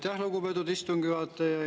Aitäh, lugupeetud istungi juhataja!